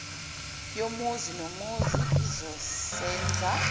yomuzi nomuzi izosenza